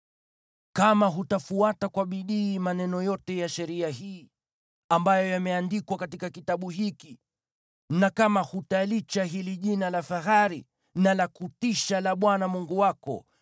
Kama hutafuata kwa bidii maneno yote ya sheria hii, ambayo yameandikwa katika kitabu hiki na kama hutalicha hili jina la fahari na la kutisha, yaani la Bwana Mungu wako,